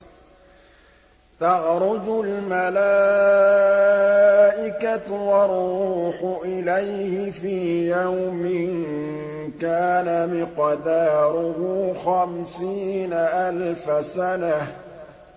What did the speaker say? تَعْرُجُ الْمَلَائِكَةُ وَالرُّوحُ إِلَيْهِ فِي يَوْمٍ كَانَ مِقْدَارُهُ خَمْسِينَ أَلْفَ سَنَةٍ